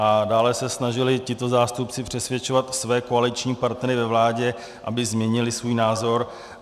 A dále se snažili tito zástupci přesvědčovat své koaliční partnery ve vládě, aby změnili svůj názor.